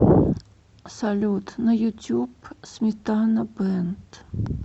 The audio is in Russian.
салют на ютюб сметана бэнд